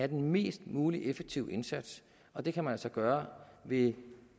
den mest mulige effektive indsats og det kan man altså gøre ved